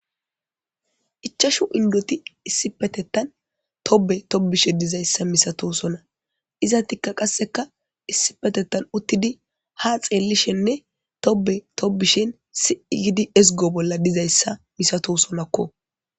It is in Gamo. Ichashu inddoti issipetettan tobe tobishe dizayssa misatosona izatikka qasseka issipetetan uttidi ha xeellishenne tobe tobishin si7igidi ezgo bolla dizayssa misato sonakko.